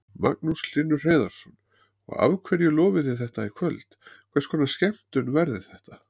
Magnús Hlynur Hreiðarsson: Og hverju lofið þið í kvöld, hvers konar skemmtun verður þetta?